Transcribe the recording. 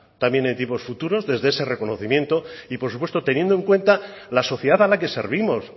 también en tiempos futuros desde ese reconocimiento y por supuesto teniendo en cuenta la sociedad a la que servimos